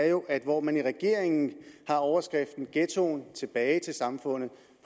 jo er at hvor man i regeringen med overskriften ghettoen tilbage til samfundet